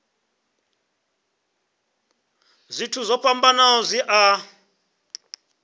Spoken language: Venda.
zwithu zwo fhambanaho zwi a